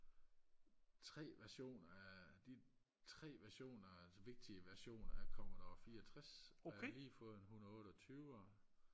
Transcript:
tre versioner af de tre versioner altså vigtige versioner af commodore fireogtreds og jeg har lige fået en hundredeotteogtyver